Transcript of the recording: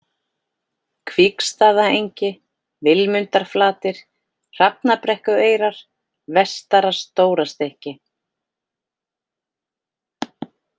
Kvígsstaðaengi, Vilmundarflatir, Hrafnabrekkueyrar, Vestara-Stórastykki